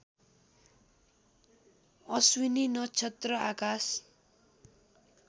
अश्विनी नक्षत्र आकाश